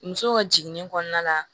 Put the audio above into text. Muso ka jiginni kɔnɔna la